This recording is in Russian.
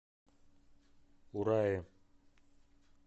урае